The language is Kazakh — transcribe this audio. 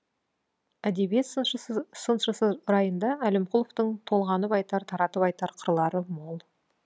әдебиет сыншысы райында әлімқұловтың толғанып айтар таратып айтар қырлары мол